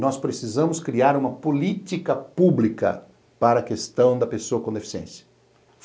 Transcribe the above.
Nós precisamos criar uma política pública para a questão da pessoa com deficiência.